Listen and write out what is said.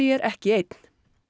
er ekki einn